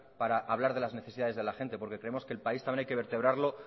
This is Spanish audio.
para hablar de las necesidades de la gente porque creemos que el país también hay que vertebrarlo